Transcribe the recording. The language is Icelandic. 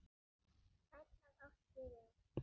Sæll af ást ég er.